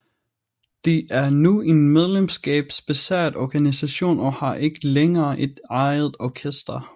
Det er nu en medlemskabsbaseret organisation og har ikke længere et eget orkester